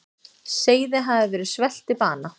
Seiði hafa verið svelt til bana.